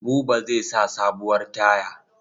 Buba zai sa sabuwar taya.